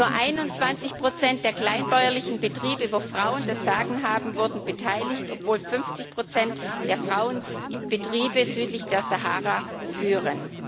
Nur 21 der kleinbäuerlichen Betriebe, wo Frauen das Sagen haben, wurden beteiligt, obwohl 50 der Frauen die Betriebe südlich der Sahara führen.